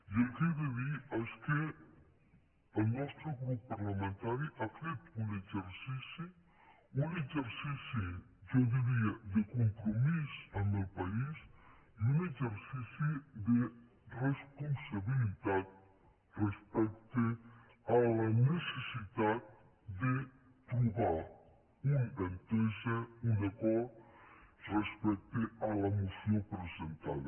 i el que he de dir és que el nostre grup parlamentari ha fet un exercici un exercici jo diria de compromís amb el país i un exercici de responsabilitat respecte a la necessitat de trobar una entesa un acord respecte a la moció presentada